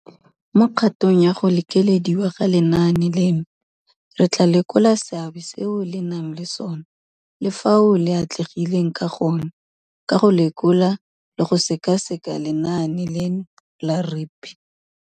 Mo kgatong ya go lekelediwa ga lenaane leno, re tla lekola seabe seo le nang le sona le fao le atlegileng ka gone ka go lekola le go sekaseka lenaane leno la REAP.